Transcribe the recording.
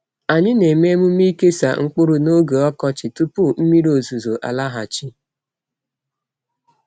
Anyị na-eme emume ikesa mkpụrụ n’oge ọkọchị tupu mmiri ozuzo alaghachi.